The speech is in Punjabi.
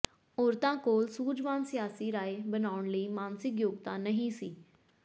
ਔਰਤਾਂ ਕੋਲ ਸੂਝਵਾਨ ਸਿਆਸੀ ਰਾਏ ਬਣਾਉਣ ਲਈ ਮਾਨਸਿਕ ਯੋਗਤਾ ਨਹੀਂ ਸੀ